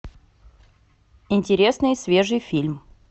интересный свежий фильм